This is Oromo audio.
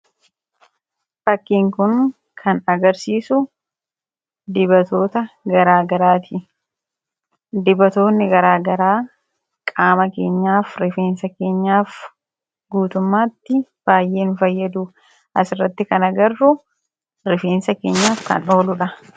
Fakkiin kun kan agarsiisu dibatoota garaa garaati. Dibatoonni garaa garaa qaama keenyaf, rifeensa keenyaaf guutummaatti baay'ee nu fayyadu. Asirratti kan agarru rifeensa keenyaf kan ooludha.